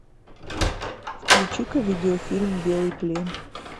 включи ка видеофильм белый плен